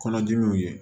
Kɔnɔdimiw ye